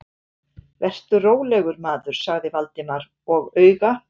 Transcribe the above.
Vertu rólegur, maður- sagði Valdimar og auga